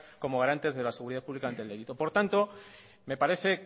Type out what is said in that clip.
como garantes de la seguridad pública ante el delito por lo tanto me parece